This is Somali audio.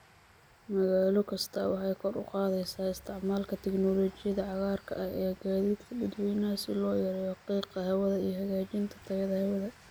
Magaalo kasta waxay kor u qaadaysaa isticmaalka tignoolajiyada cagaarka ah ee gaadiidka dadweynaha si loo yareeyo qiiqa hawada iyo hagaajinta tayada hawada.